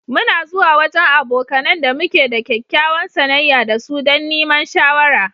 Mu na zuwa wajen abokanen da muke da kyakkyawar sanayya da su dan niman shawara.